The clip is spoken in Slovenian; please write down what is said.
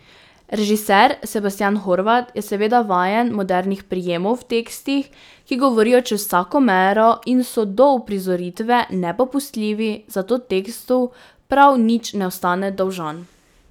Režiser Sebastijan Horvat je seveda vajen modernih prijemov v tekstih, ki govorijo čez vsako mero in so do uprizoritve nepopustljivi, zato tekstu prav nič ne ostane dolžan.